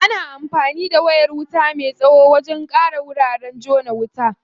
Ana anfani da wayar wuta me tsawo wajen ƙara wuraren jona wuta.